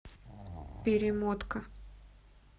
перемотка